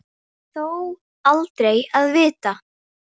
Þó aldrei að vita.